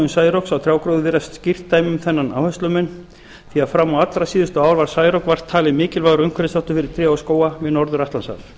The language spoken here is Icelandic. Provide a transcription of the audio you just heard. særoks á trjágróður virðist skýrt dæmi um þennan áherslumun því að fram á allra síðustu ár var særok vart talið mikilvægur umhverfisþáttur fyrir tré og skóga við norður atlantshaf